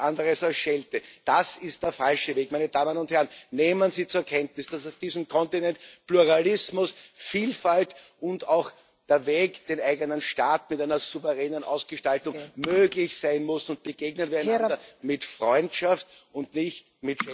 Nichts anderes als Schelte. Das ist der falsche Weg. Meine Damen und Herren, nehmen Sie zur Kenntnis, dass auf diesem Kontinent Pluralismus, Vielfalt und auch der Weg, den eigenen Staat mit einer souveränen Ausgestaltung zu versehen, möglich sein muss, und begegnen wir miteinander mit Freundschaft und nicht mit